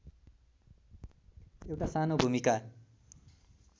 एउटा सानो भूमिका